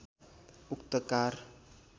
उक्त कार